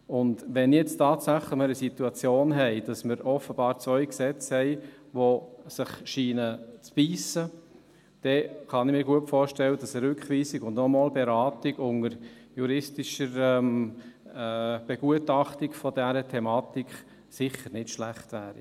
Wenn wir jetzt tatsächlich die Situation haben, dass wir offenbar zwei Gesetze haben, die sich zu beissen scheinen, dann kann ich mir gut vorstellen, dass eine Rückweisung und noch einmal eine Beratung unter juristischer Begutachtung dieser Thematik sicher nicht schlecht wäre.